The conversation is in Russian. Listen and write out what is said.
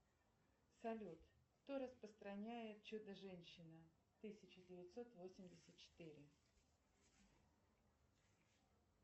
салют кто распространяет чудо женщина тысяча девятьсот восемьдесят четыре